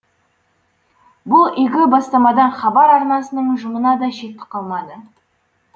бұл игі бастамадан хабар арнасының ұжымына да шеттік қалмады